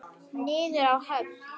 Niður að höfn.